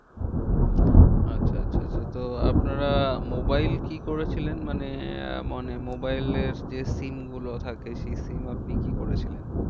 আচ্ছা আচ্ছা আচ্ছা তো আপনারা mobile কি করেছিলেন? মানে আহ মানে mobile এর যে SIM গুলো থাকে সেই SIM আপনি কি করেছিলেন?